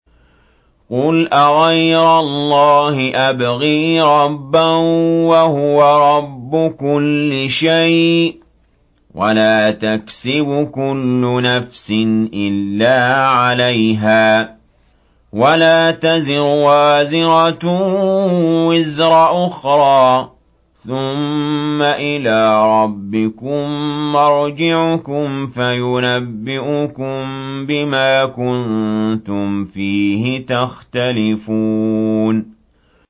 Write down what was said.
قُلْ أَغَيْرَ اللَّهِ أَبْغِي رَبًّا وَهُوَ رَبُّ كُلِّ شَيْءٍ ۚ وَلَا تَكْسِبُ كُلُّ نَفْسٍ إِلَّا عَلَيْهَا ۚ وَلَا تَزِرُ وَازِرَةٌ وِزْرَ أُخْرَىٰ ۚ ثُمَّ إِلَىٰ رَبِّكُم مَّرْجِعُكُمْ فَيُنَبِّئُكُم بِمَا كُنتُمْ فِيهِ تَخْتَلِفُونَ